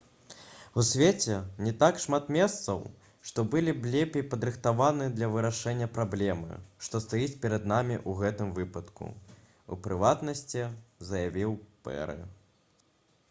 «у свеце не так шмат месцаў што былі б лепей падрыхтаваны для вырашэння праблемы што стаіць перад намі ў гэтым выпадку» — у прыватнасці заявіў пэры